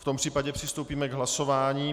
V tom případě přistoupíme k hlasování.